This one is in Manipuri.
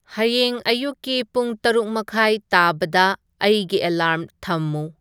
ꯍꯌꯦꯡ ꯑꯌꯨꯛꯀꯤ ꯄꯨꯡ ꯇꯔꯨꯛ ꯃꯈꯥꯏ ꯇꯥꯕꯗ ꯑꯩꯒꯤ ꯑꯦꯂꯥꯔ꯭ꯝ ꯊꯝꯃꯨ